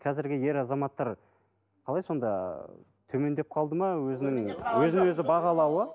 қазіргі ер азаматтар қалай сонда ы төмендеп қалды ма өзінің өзін өзі бағалауы